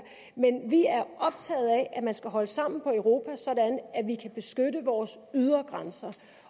vi er optaget af at man skal holde sammen på europa sådan at vi kan beskytte vores ydre grænser